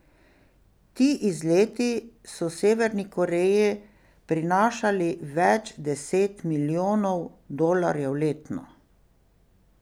Ti izleti so Severni Koreji prinašali več deset milijonov dolarjev letno.